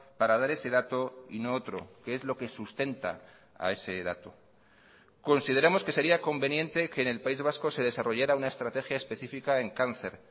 para dar ese dato y no otro qué es lo que sustenta a ese dato consideramos que sería conveniente que en el país vasco se desarrollara una estrategia específica en cáncer